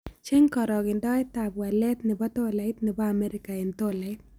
Cheng karogendoetap walet ne po tolait ne po amerika eng' tolait